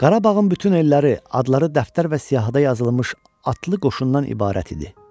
Qarabağın bütün elləri, adları dəftər və siyahıda yazılmış atlı qoşundan ibarət idi.